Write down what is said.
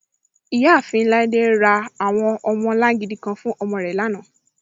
Iyaafin Laide ra awọn ọmọlàngídì kàn fún ọmọ rẹ lánà.